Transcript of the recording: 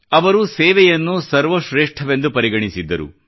ಅವರು ಸೇವೆಯನ್ನು ಸರ್ವ ಶ್ರೇಷ್ಠವೆಂದು ಪರಿಗಣಿಸಿದ್ದರು